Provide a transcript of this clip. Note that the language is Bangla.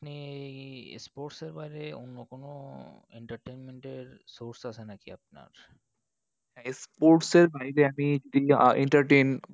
আপনি এই sports এর বাইরে অন্য কোনো entertainment এর source আছে নাকি আপনার? sports এর বাইরে আমি entertain